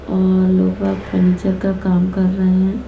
और लोगभग फर्नीचर का काम कर रहे हैं।